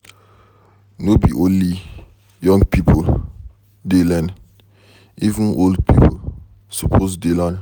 No be only young pipo dey learn, even old pipo suppose dey learn.